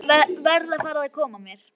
Verð að fara að koma mér.